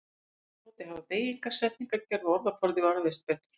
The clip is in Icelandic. Aftur á móti hafa beygingar, setningagerð og orðaforði varðveist betur.